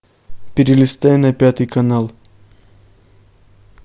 перелистай на пятый канал